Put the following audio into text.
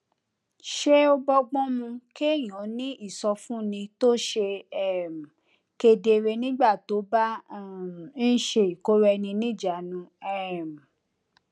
ṣé ó bógbón mu kéèyàn ní ìsọfúnni tó ṣe um kedere nígbà tó bá um ń ṣe ìkóraẹniníjàánu um